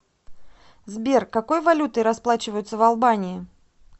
сбер какой валютой расплачиваются в албании